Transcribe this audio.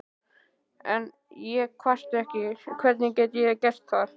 En ég kvarta ekki, hvernig gæti ég gert það?